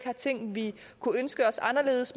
vi i